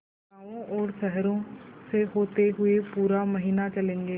गाँवों और शहरों से होते हुए पूरा महीना चलेंगे